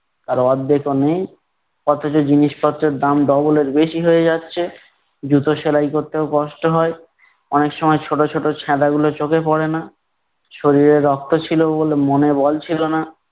তার অর্ধেকও নেই। অথচ জিনিসপত্রের দাম double এর বেশি হয়ে যাচ্ছে। জুতো সেলাই করতেও কষ্ট হয়, অনেক সময় ছোট ছোট ছ্যাদাগুলো চোখে পরে না, শরীরে রক্ত ছিল বলে মনে বল ছিল না।